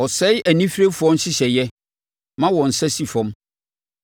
Ɔsɛe anifirefoɔ nhyehyɛeɛ, ma wɔn nsa si fam.